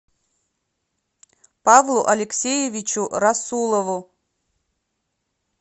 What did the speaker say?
павлу алексеевичу расулову